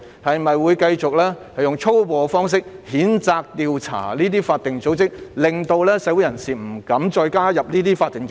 是否會繼續使用粗暴的方式譴責和調查這些法定組織，令社會人士不敢加入這些法定組織？